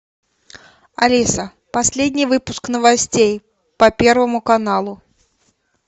алиса последний выпуск новостей по первому каналу